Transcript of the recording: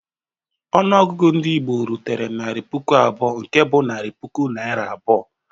Ọnụọgụ ndị Igbo rutere "narị puku abụọ," nke bụ narị puku Naịra abụọ.